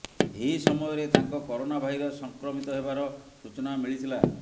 ଏହି ସମୟରେ ତାଙ୍କ କରୋନା ଭାଇରସ୍ ସଂକ୍ରମିତ ହେବାର ସୂଚନା ମିଳିଥିଲା